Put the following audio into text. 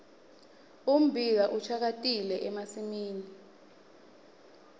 ummbila ushakatile emasimini